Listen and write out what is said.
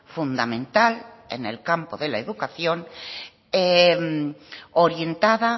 fundamental en el campo de la educación orientada